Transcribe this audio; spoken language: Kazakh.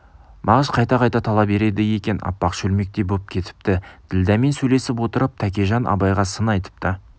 мағыш қайта-қайта тала береді екен аппақ шөлмектей боп кетіпті ділдәмен сөйлесіп отырып тәкежан абайға сын айтыпты